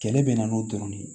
Kɛlɛ bɛ na n'o dɔrɔn de ye